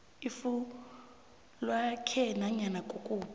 ifuywakhe nanyana kukuphi